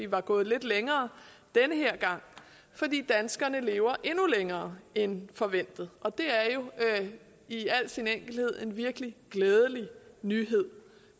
var gået lidt længere denne gang fordi danskerne lever endnu længere end forventet det er jo i al sin enkelhed en virkelig glædelig nyhed